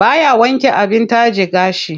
Baya wanke abin taje gashi.